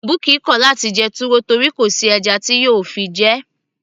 bukky kò láti jẹ túwó torí kò sí ẹja tí yóò fi jẹ ẹ́